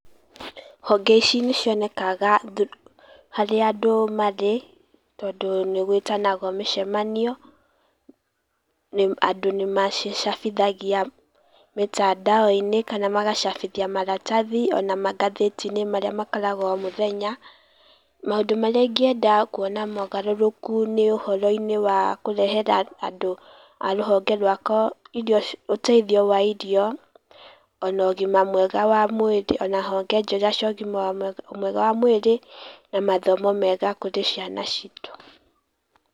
Honge ici nĩcionekaga harĩa andũ marĩ, tondũ nĩ gũĩtanagwo mĩcemanio. Andũ nĩ macicabitHagia mĩtandao-inĩ kana magacabithia maratathi ona magathĩti-inĩ marĩa makoragwo omũthenya. Maundũ marĩa ingĩenda kuona mogarurũku nĩ ũhoro-inĩ wa kũrehera andũ a rũhonge rwakwa uteithio wa irio, ona ũgima mwega wa mwĩrĩ, ona honge njega cia ũgima mwega wa mwĩri, na mathomo mega kũrĩ ciana citũ.